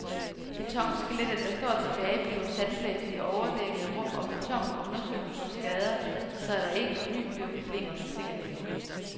Betonskelettet der står tilbage bliver sandblæst i overdækkede rum og betonen undersøgt for skader så der ikke på ny bliver problemer med sikkerheden.